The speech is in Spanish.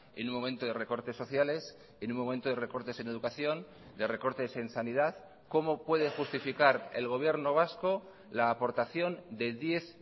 en un momento de recortes sociales en un momento de recortes en educación de recortes en sanidad cómo puede justificar el gobierno vasco la aportación de diez